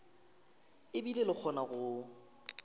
e bile e kgona go